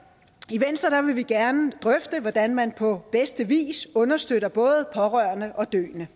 i venstre vil vi gerne drøfte hvordan man på bedste vis understøtter både pårørende og døende